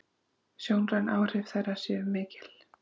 Sjónræn áhrif þeirra séu mikil.